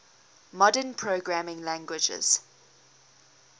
modern programming languages